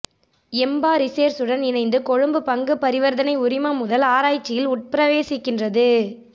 எம்பா ரிசேர்சுடன் இணைந்து கொழும்பு பங்குப் பரிவர்த்தனை உரிமைமுதல் ஆராய்ச்சியில் உட்பிரவேசிக்கின்றது